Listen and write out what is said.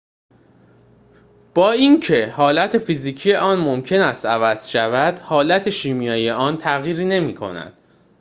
با اینکه حالت فیزیکی آن ممکن است عوض شود حالت شیمیایی آن تغییری نمی‌کند